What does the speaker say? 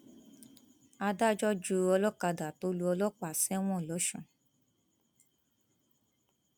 adájọ ju olókàdá tó lu ọlọpàá sẹwọn lọsùn